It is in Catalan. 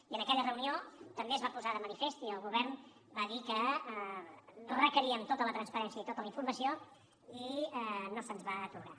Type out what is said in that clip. i en aquella reunió també es va posar de manifest i el govern va dir que requeríem tota la transparència i tota la informació i no se’ns va atorgar